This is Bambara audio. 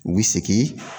U bi segin